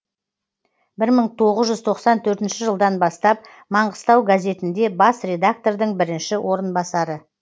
бір мың тоғыз жүз тоқсан төртінші жылдан бастап маңғыстау газетінде бас редактордың бірінші орынбасары